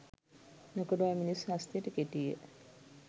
නොකඩවා මිනිස් හස්තයට කෙටීය.